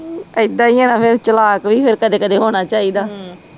ਏਦਾਂ ਈਆ ਨਾ ਫਿਰ ਚਲਾਕ ਵੀ ਫਿਰ ਕਦੇ ਕਦੇ ਹੋਣਾ ਚਾਹੀਦਾ।